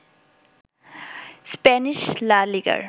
Spanish La লিগার